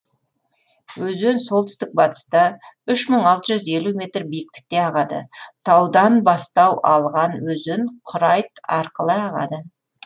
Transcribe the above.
өзен солтүстік батыста үш мың алты жүз елу метр биіктікте ағады таудан бастау алған өзен құрайт арқылы ағады